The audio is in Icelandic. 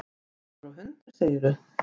Maður og hundur, segirðu?